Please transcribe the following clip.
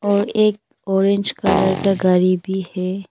और एक orange colour का गाड़ी भी है।